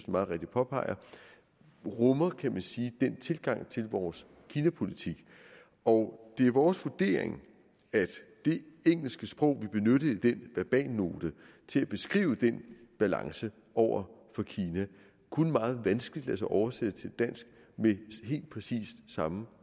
meget rigtigt påpeger rummer kan man sige den tilgang til vores kinapolitik og det er vores vurdering at det engelske sprog vi benyttede i den verbalnote til at beskrive den balance over for kina kun meget vanskeligt lader sig oversætte til dansk med helt præcis samme